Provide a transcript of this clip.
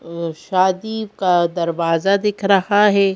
अ शादी का दरवाजा दिख रहा है।